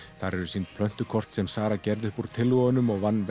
þar eru sýnd plöntukort sem Sara gerði upp úr tillögunum og vann